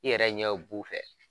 I yɛrɛ ɲɛ b bu fɛ.